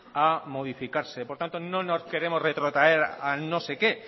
a modificarse por tanto no nos queremos retrotraer a no sé qué